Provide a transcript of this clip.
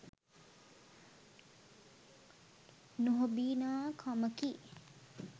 නොහොබිනා කමකි.